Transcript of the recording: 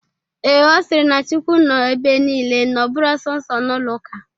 Ee, Ọ sịrị na chukwu nọ ebe nile na ọ bụrọ sọnsọ n'ụlọ ụka.